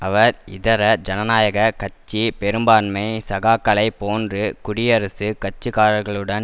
அவர் இதர ஜனநாயக கட்சி பெரும்பான்மை சகாக்களைப்போன்று குடியரசுக் கட்சிக்காரர்களுடன்